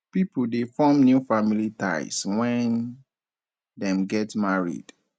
pipo de form new family ties when dem get married